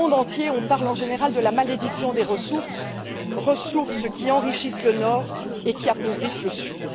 Dans le monde entier, on parle en général de la malédiction des ressources qui enrichissent le Nord et qui appauvrissent le Sud.